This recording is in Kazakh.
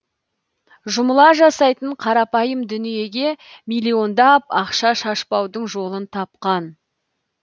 жұмыла жасайтын қарапайым дүниеге миллиондап ақша шашпаудың жолын тапқан